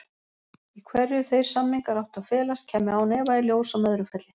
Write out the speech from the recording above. Í hverju þeir samningar áttu að felast kæmi án efa í ljós á Möðrufelli.